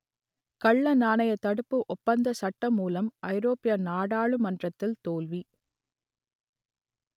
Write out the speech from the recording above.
கள்ளநாணயத் தடுப்பு ஒப்பந்த சட்டமூலம் ஐரோப்பிய நாடாளுமன்றத்தில் தோல்வி